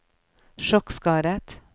sjokkskadet